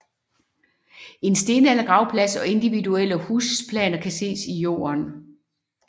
En stenaldergravplads og individuelle husplaner kan ses i jorden